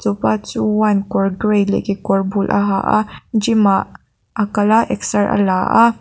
chuan kawr gray leh kekawr bul a ha a gym ah a kal a exer a la a.